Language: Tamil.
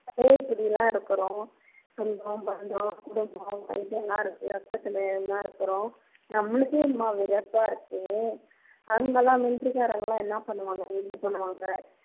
எல்லாம் இருக்கிறோன் சொந்தம் பந்தம் குடும்பம் இதெல்லாம் இருக்கு பக்கத்துல எல்லாம் இருக்கிறோம் நம்மளுக்கே என்னமோ வெறுப்பா இருக்கே அவங்களாம் military காரங்களாம் என்ன பண்ணுவாங்க பண்ணுவாங்க